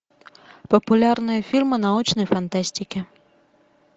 популярные фильмы научной фантастики